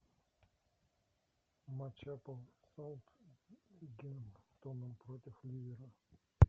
матч апл саутгемптон против ливера